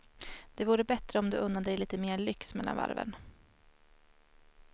Det vore bättre om du unnade dig lite mer lyx mellan varven.